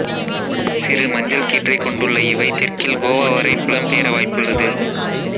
சிறு மஞ்சள் கீற்றை கொண்டுள்ள இவை தெற்கில் கோவா வரை புலம் பெயர வாய்ப்புள்ளது